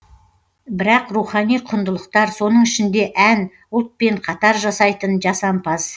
бірақ рухани құндылықтар соның ішінде ән ұлтпен қатар жасайтын жасампаз